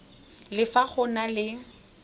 le fa go na le